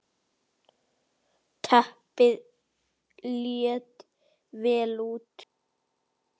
Arnar Árnason